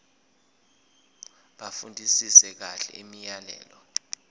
bafundisise kahle imiyalelo